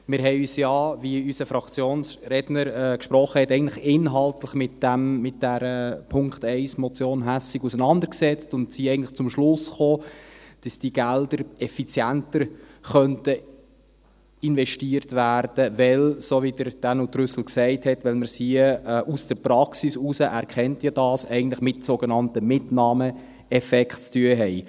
Wir haben uns ja, wie unser Fraktionsredner gesagt hat, eigentlich inhaltlich mit diesem Punkt 1 der Motion Hässig auseinandergesetzt und sind eigentlich zum Schluss gekommen, dass die Gelder effizienter investiert werden könnten, weil, so wie es Dänu Trüssel gesagt hat, weil man es hier aus der Praxis heraus – er kennt diese ja – eigentlich mit sogenannten Mitnahmeeffekten zu tun hat.